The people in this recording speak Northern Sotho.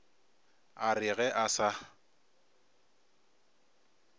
a re ge a sa